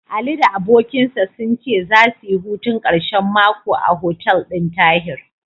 Ali da abokinsa sun ce zasu yi hutun ƙarshen mako a hotel ɗin Tahir.